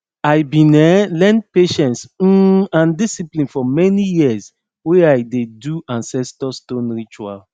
i bin um learn patience um and discipline from many years wey i dey do ancestor stone ritual